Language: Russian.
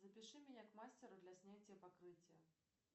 запиши меня к мастеру для снятия покрытия